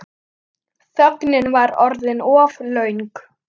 Þögnin var orðin of löng.